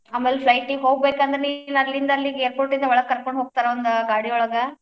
ಆಮೇಲ್ flight ಗೆ ಹೋಗ್ಬೇಕಂದ್ರ್ ನಿನ್ ಅಲ್ಲಿಂದ್ ಅಲ್ಲಿಗೆ airport ಯಿಂದ್ ಒಳಗ್ ಕರ್ಕೊಂಡ್ ಹೋಗ್ತಾರ ಒಂದ್ ಗಾಡಿ ಒಳಗ್.